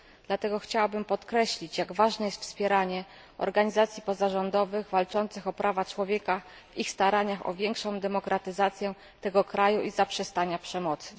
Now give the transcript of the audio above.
Dlatego chciałabym podkreślić, jak ważne jest wspieranie organizacji pozarządowych walczących o prawa człowieka w ich staraniach o większą demokratyzację tego kraju i zaprzestanie przemocy.